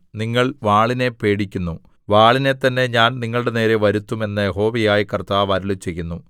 നിങ്ങൾ വാളിനെ പേടിക്കുന്നു വാളിനെ തന്നെ ഞാൻ നിങ്ങളുടെനേരെ വരുത്തും എന്ന് യഹോവയായ കർത്താവ് അരുളിച്ചെയ്യുന്നു